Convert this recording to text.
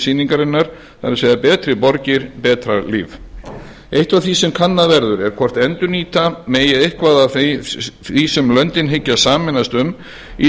sýningarinnar betri borgir betra líf eitt af því sem kannað verður er hvort endurnýta megi eitthvað af því sem löndin hyggjast sameinast um í